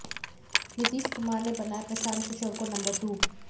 नीतीश कुमार ने बनाया प्रशांत किशोर को नंबर टू